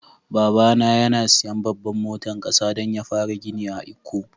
Baba na yana siyan babban motan kasa dan ya fara gini a lkko.